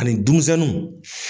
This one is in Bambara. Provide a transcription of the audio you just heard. Ani dumusɛnnu